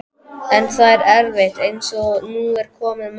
En það er erfitt, eins og nú er komið málum.